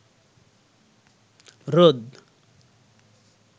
রোদ